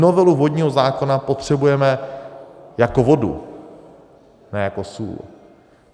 Novelu vodního zákona potřebujeme jako vodu, ne jako sůl.